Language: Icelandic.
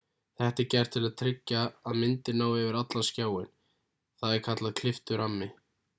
þetta er gert til að tryggja að myndin nái yfir allan skjáinn það er kallað klipptur rammi